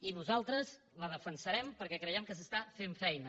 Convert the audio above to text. i nosaltres la defensarem perquè creiem que s’està fent feina